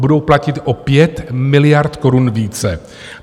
Budou platit o 5 miliard korun více!